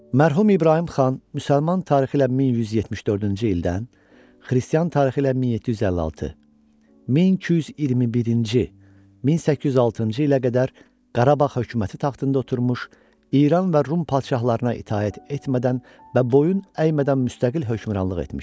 Mərhum İbrahim xan müsəlman tarixi ilə 1174-cü ildən xristian tarixi ilə 1756, 1221-ci, 1806-cı ilə qədər Qarabağ hökuməti taxtında oturmuş, İran və Rum padşahlarına itaət etmədən və boyun əymədən müstəqil hökmranlıq etmişdi.